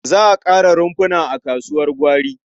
Za a ƙara rumfuna a kasuwar gwari.